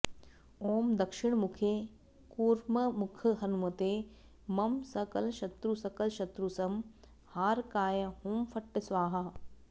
ॐ दक्षिणमुखे कूर्ममुखहनुमते मं सकलशत्रुसकलशत्रुसंहारकाय हुं फट् स्वाहा